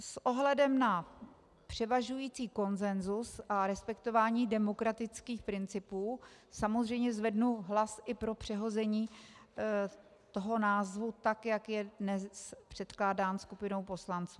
S ohledem na převažující konsenzus a respektování demokratických principů samozřejmě zvednu hlas i pro přehození toho názvu, tak jak je dnes předkládán skupinou poslanců.